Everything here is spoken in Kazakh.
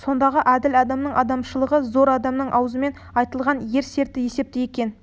сондағы әділ адамның адамшылығы зор адамның аузымен айтылған ер серті есепті екен